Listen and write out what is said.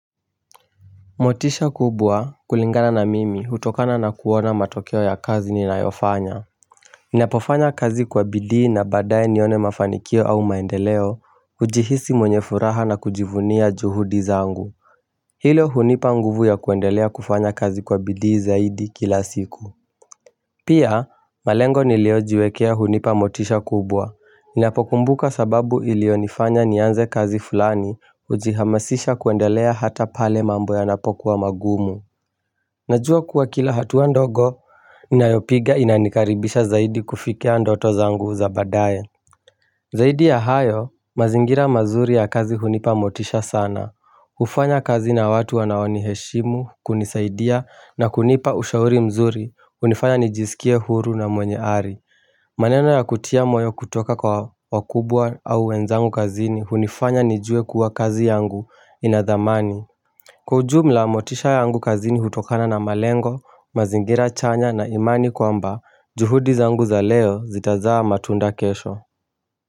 Motisha kubwa kulingana na mimi hutokana na kuona matokeo ya kazi ninayofanya Ninapofanya kazi kwa bidii na badaye nione mafanikio au maendeleo hujihisi mwenye furaha na kujivunia juhudi zangu Hilo hunipa nguvu ya kuendelea kufanya kazi kwa bidii zaidi kila siku Pia, malengo niliojiwekea hunipa motisha kubwa. Ninapokumbuka sababu ilio nifanya nianze kazi fulani hujihamasisha kuendelea hata pale mambo yanapokuwa magumu. Najua kuwa kila hatua ndogo, ninayopiga inanikaribisha zaidi kufikia ndoto zangu za badaye. Zaidi ya hayo, mazingira mazuri ya kazi hunipa motisha sana. Hufanya kazi na watu wanaoni heshimu, kunisaidia na kunipa ushauri mzuri hunifanya nijisikie huru na mwenye ari maneno ya kutia moyo kutoka kwa wakubwa au wenzangu kazini hunifanya nijue kuwa kazi yangu inadhamani Kwa ujumla motisha yangu kazini hutokana na malengo, mazingira chanya na imani kwa lmba juhudi zangu za leo zitazaa matunda kesho.